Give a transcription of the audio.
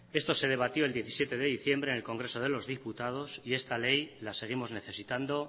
esto se debatió el diecisiete de diciembre en el congreso de los diputados y esta ley la seguimos necesitando